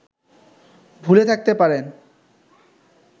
ভুলে থাকতে পারেন